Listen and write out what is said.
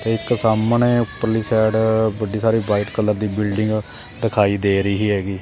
ਤੇ ਇੱਕ ਸਾਹਮਣੇ ਉਪਰਲੀ ਸਾਈਡ ਵੱਡੀ ਸਾਰੀ ਵ੍ਹਾਈਟ ਕਲਰ ਦੀ ਬਿਲਡਿੰਗ ਦਿਖਾਈ ਦੇ ਰਹੀ ਹੈਗੀ।